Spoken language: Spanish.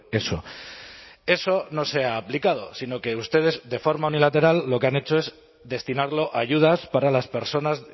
eso eso no se ha aplicado sino que ustedes de forma unilateral lo que han hecho es destinarlo a ayudas para las personas